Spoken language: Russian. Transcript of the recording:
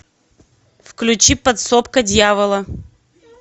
включи подсобка дьявола